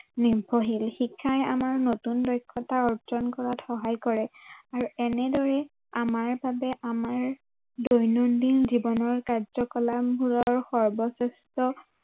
নিৰ্ভৰশীল শিক্ষাই আমাৰ নতুন দক্ষতা অৰ্জন কৰাত সহায় কৰে আৰু এনেদৰে আমাৰ বাবে আমাৰ দৈনন্দিন জীৱনৰ কাৰ্য্য়কলাপবোৰৰ সৰ্বশ্ৰেষ্ঠ